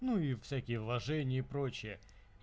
ну и всякие вложения и прочее